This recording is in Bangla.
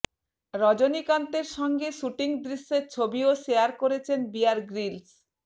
রজনীকান্তের সঙ্গে শ্যুটিং দৃশ্যের ছবিও শেয়ার করেছেন বিয়ার গ্রিলস